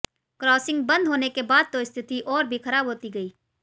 crossing बंद होने के बाद तो स्थिति और भी खराब होती गई